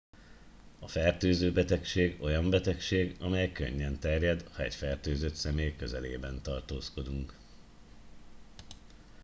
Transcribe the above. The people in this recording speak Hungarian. a fertőző betegség olyan betegség amely könnyen terjed ha egy fertőzött személy közelében tartózkodunk